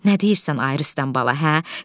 Nə deyirsən ay Rüstəm bala, hə?